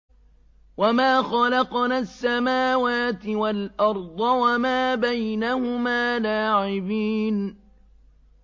وَمَا خَلَقْنَا السَّمَاوَاتِ وَالْأَرْضَ وَمَا بَيْنَهُمَا لَاعِبِينَ